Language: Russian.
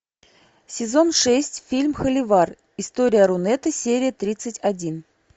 сезон шесть фильм холивар история рунета серия тридцать один